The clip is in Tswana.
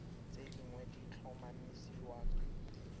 tse dingwe di tlhomamisiwa ke